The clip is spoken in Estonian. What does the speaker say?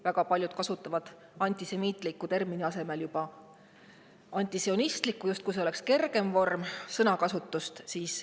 Väga paljud kasutavad "antisemiitliku" asemel juba "antisionistlik", justkui selline sõnakasutus oleks kergem.